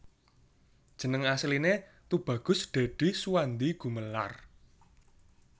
Jeneng Asliné Tubagus Dèdi Suwandi Gumelar